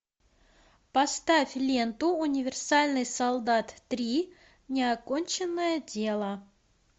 поставь ленту универсальный солдат три неоконченное дело